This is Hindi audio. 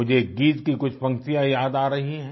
मुझे एक गीत की कुछ पंक्तियाँ याद आ रही हैं